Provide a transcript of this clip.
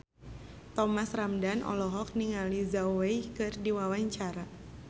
Thomas Ramdhan olohok ningali Zhao Wei keur diwawancara